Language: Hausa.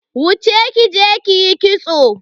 Wuce kije kiyi kitso.